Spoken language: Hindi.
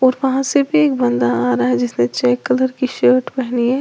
और वहां से भी एक बंदा आ रहा है जिसने चेक कलर की शर्ट पहनी है।